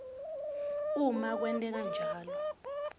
uma kwenteka njalo